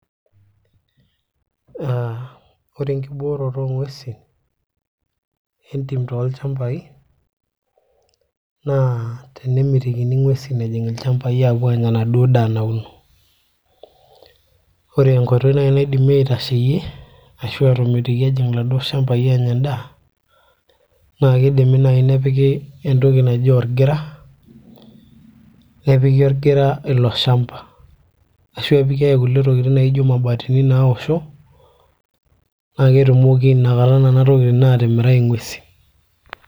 aa ore enkibooroto oong'uesin entim tolchambai naa tenemitikini ing'uesin ejing ilchambai aapuo aanya enaduo daa nauno ore enkoitoi naaji naidimi aitasheyie ashu aatomitiki ejing ila duo shambai aanya endaa naa kidimi naaji nepiki entoki naji orgira nepiki orgira ilo shamba ashu epiki ake kulie tokitin naijo imabatini naosho naa ketumoki nakata nena tokitin aatimirai ing'uesi.